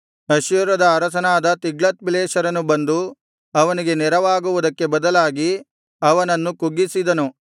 ಅಶ್ಶೂರದ ಅರಸನಾದ ತಿಗ್ಲತ್ಪಿಲೆಸರನು ಬಂದು ಅವನಿಗೆ ನೆರವಾಗುವುದಕ್ಕೆ ಬದಲಾಗಿ ಅವನನ್ನು ಕುಗ್ಗಿಸಿದನು